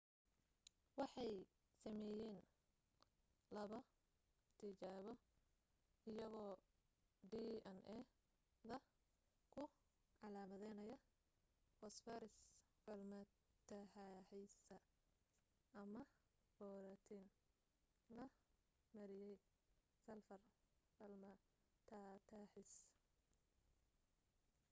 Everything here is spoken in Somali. waxay sameeyeen laba tijaabo iyagoo dna da ku calaamidanaya foosfaras falmataataxaysa ama booratiin la mariyay salfar falmataataxaysa